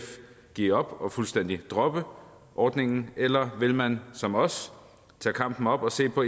give op og fuldstændig droppe ordningen eller vil man som os tage kampen op og se på